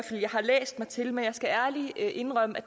at jeg har læst mig til men jeg skal ærligt indrømme